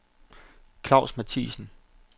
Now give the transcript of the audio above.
Klaus Mathiesen